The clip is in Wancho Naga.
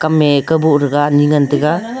kam me kabo thaga anyi ngan taga.